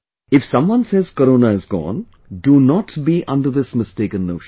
If someone says Corona is gone, do not be under this mistaken notion